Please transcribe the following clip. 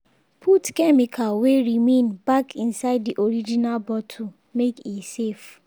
put chemical wey remain back inside the original bottle make e safe.